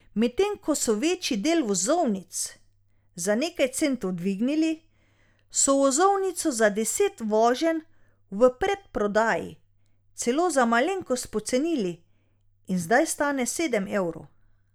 Medtem ko so večji del vozovnic za nekaj centov dvignili, so vozovnico za deset voženj v predprodaji celo za malenkost pocenili in zdaj stane sedem evrov.